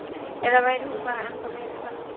Eða væri hún bara ennþá meira spennandi fyrir vikið?